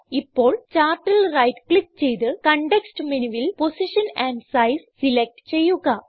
ഇപ്പോൾ ചാർട്ടിൽ right click ചെയ്ത് കോണ്ടെക്സ്റ്റ് മെനുവിൽ പൊസിഷൻ ആൻഡ് സൈസ് സിലക്റ്റ് ചെയ്യുക